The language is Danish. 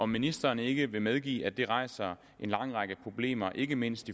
ministeren ikke medgive at det rejser en lang række problemer ikke mindst